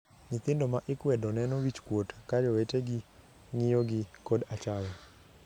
Nyithindo ma ikwedo neno wich kuot ka jowetegi ng'iyogi kod achaya.